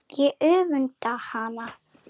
Ég öfunda hana.